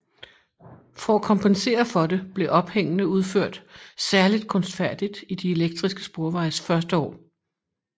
For at kompensere for det blev ophængene udført særligt kunstfærdigt i de elektriske sporvejes første år